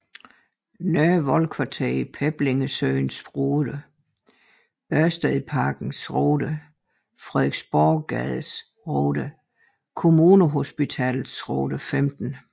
Nørrevold Kvarter Peblingesøens Rode Ørstedsparkens Rode Frederiksborggades Rode Kommunehospitalets Rode 15